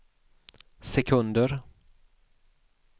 sekunder